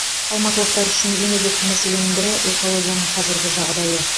алматылықтар үшін ең өзекті мәселенің бірі экологияның қазіргі жағдайы